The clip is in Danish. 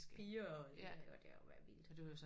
Piger og det har og det har jo været vildt